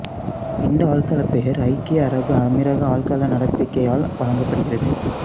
இந்த ஆள்களப் பெயர் ஐக்கிய அரபு அமீரக ஆள்கள நடப்பிக்கையால் வழங்கப்படுகின்றது